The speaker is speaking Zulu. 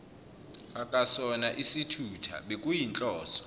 akasona isithutha bekuyinhloso